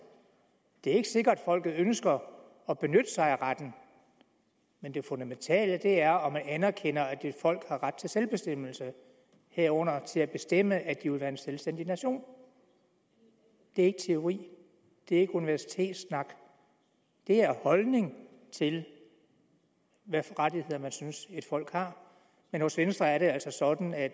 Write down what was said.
det er ikke sikkert folket ønsker at benytte sig af retten men det fundamentale er om man anerkender at et folk har ret til selvbestemmelse herunder til at bestemme at de vil være en selvstændig nation det er ikke teori det er ikke universitetssnak det er holdning til hvilke rettigheder man synes et folk har men hos venstre er det altså sådan at